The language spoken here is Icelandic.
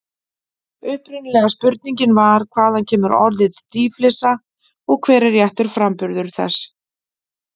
Upprunalega spurningin var: Hvaðan kemur orðið dýflissa og hver er réttur framburður þess?